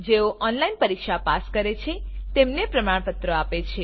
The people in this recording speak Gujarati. જેઓ ઓનલાઇન પરીક્ષા પાસ કરે છે તેમને પ્રમાણપત્ર આપે છે